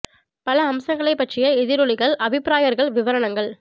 பல அம்சங்களைப் பற்றிய எதிரொலிகள் அபிப்ராயங்கள் விவரணகள்